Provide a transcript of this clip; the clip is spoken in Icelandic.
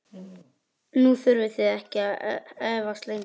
Nú þurfið þið ekki að efast lengur.